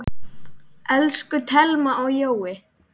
Elsku Thelma og Jói.